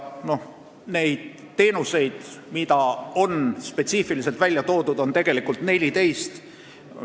Neid teenuseid, mis on spetsiifiliselt välja toodud, on 14.